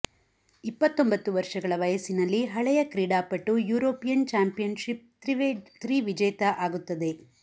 ಇಪ್ಪತ್ತೊಂಬತ್ತು ವರ್ಷಗಳ ವಯಸ್ಸಿನಲ್ಲಿ ಹಳೆಯ ಕ್ರೀಡಾಪಟು ಯುರೋಪಿಯನ್ ಚಾಂಪಿಯನ್ಶಿಪ್ ತ್ರಿ ವಿಜೇತ ಆಗುತ್ತದೆ